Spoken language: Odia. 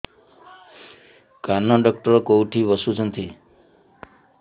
କାନ ଡକ୍ଟର କୋଉଠି ବସୁଛନ୍ତି